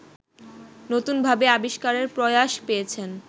নতুনভাবে আবিষ্কারের প্রয়াশ পেয়েছেন